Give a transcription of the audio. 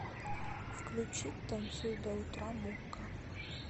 включить танцуй до утра мукка